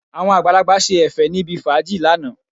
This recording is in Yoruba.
Àwọn àgbàlagbà ṣe Ẹ̀fẹ̀ níbi fàájì lánàá